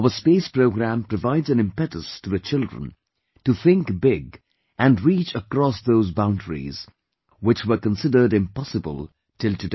Our Space Program provides an impetus to the children to think big and reach across those boundaries, which were considered impossible till today